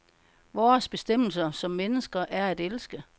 Vores bestemmelse som mennesker er at elske.